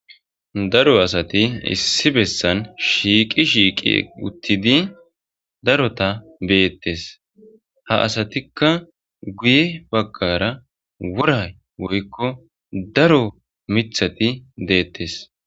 daro asati issi bessan shiiqi shiiqi uttidi darota beettes ha asatikka guye baggara woray woykko daro mithati deettes